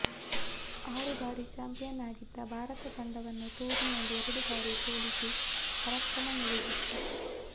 ಆರು ಬಾರಿ ಚಾಂಪಿಯನ್ ಆಗಿದ್ದ ಭಾರತ ತಂಡವನ್ನ ಟೂರ್ನಿಯಲ್ಲಿ ಎರಡು ಬಾರಿ ಸೋಲಿಸಿ ಪರಾಕ್ರಮ ಮೆರೆದಿತ್ತು